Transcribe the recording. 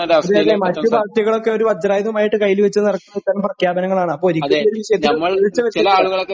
അതെയതെ, മറ്റ് പാർട്ടികളൊക്കെ ഒരു വജ്രായുധമായിട്ട് കയ്യിൽ വച്ചുനടക്കുന്നത് ഇത്തരം പ്രഖ്യാപനങ്ങളാണ്, അപ്പൊ ഒരിക്കലുമൊരു വിഷയത്തില് വീഴ്ച വരുത്തരുത്.